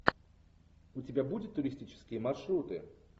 у тебя будет туристические маршруты